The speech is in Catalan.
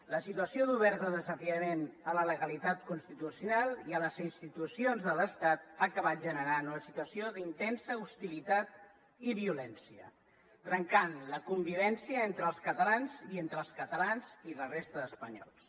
la situació d’obert desafiament a la legalitat constitucional i a les institucions de l’estat ha acabat generant una situació d’intensa hostilitat i violència trencant la convivència entre els catalans i entre els catalans i la resta d’espanyols